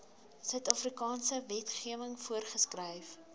suidafrikaanse wetgewing voorgeskryf